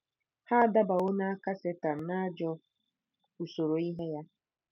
Ha adabawo n'aka Setan na ajọ usoro ihe ya.